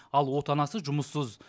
ал отанасы жұмыссыз